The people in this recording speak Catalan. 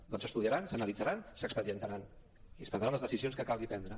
doncs s’estudiaran s’analitzaran s’expedientaran i es prendran les decisions que calgui prendre